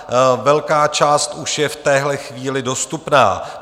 Velká část už je v téhle chvíli dostupná.